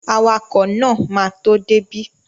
Awakọ̀ náà ma tó dé bí